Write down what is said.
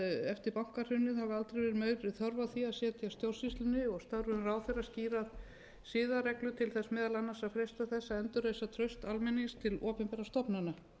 eftir bankahrunið hafi aldrei verið meiri þörf á því að setja stjórnsýslunni og störfum ráðherra skýrar siðareglur til þess meðal annars að freista þess að endurreisa traust almennings til opinberra stofnana